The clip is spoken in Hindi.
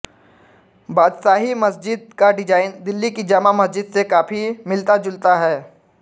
बादशाही मस्जिद का डिजाइन दिल्ली की जामा मस्जिद से काफी मिलताजुलता है